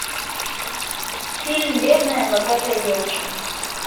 фильм бедная богатая девочка